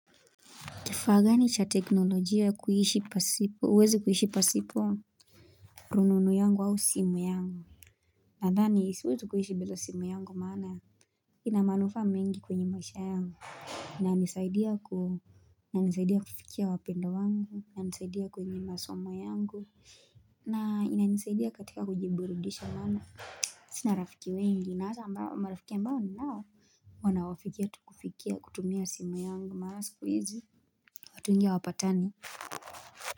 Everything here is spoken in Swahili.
Kifaa gani cha teknolojia ya kuishi pasipo huwezi kuishi pasipo rununu yangu au simu yangu Nadhani siwezi kuishi bila simu yangu maana Inamanuffa mengi kwenye maisha yangu inanisaidia kuhu inanisaidia kufikia wapendwa wangu inanisaidia kwenye masomo yangu na inanisaidia katika kujiburidisha maana Sina rafiki wengi nahata ambao marafiki ambao ni nao Wanawafikia tukufikia kutumia simu yangu maana sikuhizi watu wengi hawapatani.